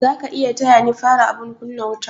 Zaka iya taya ni fara abun kunna wuta?